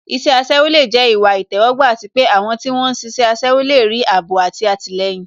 Iṣẹ́ aṣẹ́wó lè jẹ́ ìwà ìtẹ́wọ́gbà àti pé àwọn tí wón ń ṣiṣẹ́ aṣẹ́wó lè rí ààbò àti àtìlẹyìn